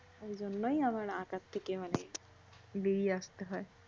এইজন্যই আমার আকার থেকে মানে বেড়িয়ে আসতে হয়।